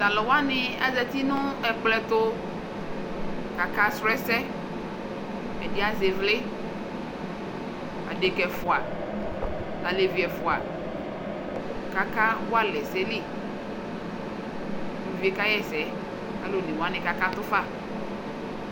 Tʋ alʋ wanɩ azati nʋ ɛkplɔ ɛtʋ kʋ akasʋ ɛsɛ Ɛdɩ azɛ ɩvlɩ Adekǝ ɛfʋa nʋ alevi ɛfʋa kʋ akawa alɛ ɛsɛ li Uluvi yɛ kaɣa ɛsɛ kʋ alʋ one wanɩ kakatʋ fa